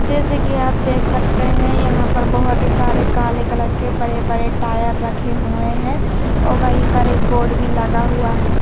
जैसे कि आप देख सकते हैं यहां पर बहुत ही सारे काले कलर के बड़े-बड़े टायर रखे हुए हैं और वहीं पर एक बोर्ड भी लगा हुआ है।